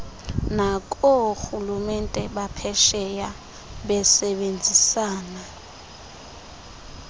nakoorhulumente baphesheya besebenzisana